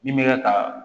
Min bɛ kɛ ka